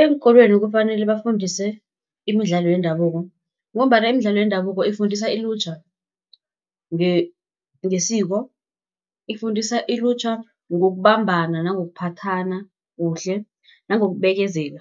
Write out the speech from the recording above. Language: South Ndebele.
Eenkolweni kufanele bafundise imidlalo yendabuko, ngombana imidlalo yendabuko efundisa ilutjha ngesiko. Ifundisa ilutjha ngokubambana nangokuphathana kuhle, nangokubekezela.